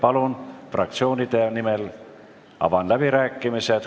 Avan fraktsioonide läbirääkimised.